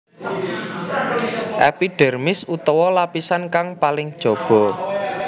Epidhérmis utawa lapisan kang paling jaba